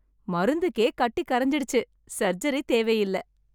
மருந்துக்கே கட்டி கரைஞ்சுடுச்சு. சர்ஜரி தேவையில்ல!